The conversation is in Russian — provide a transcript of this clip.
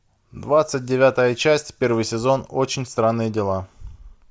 двадцать девятая часть первый сезон очень странные дела